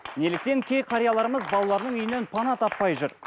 неліктен кей қарияларымыз балаларының үйінен пана таппай жүр